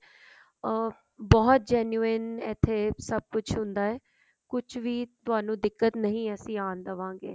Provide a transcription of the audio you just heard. ਹਾਂ ਬਹੁਤ genuine ਇੱਥੇ ਸਭ ਕੁਛ ਹੁੰਦਾ ਹੈ ਕੁਛ ਵੀ ਤੁਹਾਨੂੰ ਦਿੱਕਤ ਨਹੀ ਆਉਣ ਦਵਾਂਗੇ